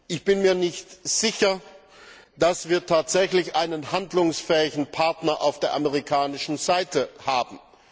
Ich bin mir nicht sicher, ob wir tatsächlich einen handlungsfähigen Partner auf der amerikanischen Seite haben.